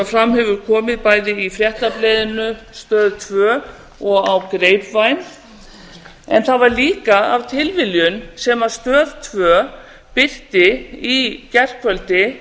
sem fram hefur komið bæði í fréttablaðinu á stöð tvö og á grapevine en það var líka af tilviljun sem stöð tvö birti í gærkvöldi